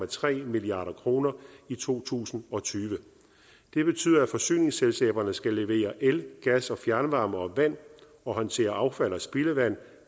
tre milliard kroner i to tusind og tyve det betyder at forsyningsselskaberne skal levere el gas og fjernvarme og vand og håndtere affald og spildevand